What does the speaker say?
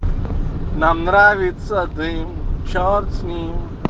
нам нравится дым черт с ним